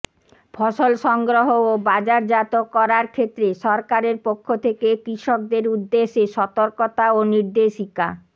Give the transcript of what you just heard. ফসল সংগ্রহ ও বাজারজাত করার ক্ষেত্রে সরকারের পক্ষ থেকে কৃষকদের উদ্দেশ্যে সতর্কতা ও নির্দেশিকা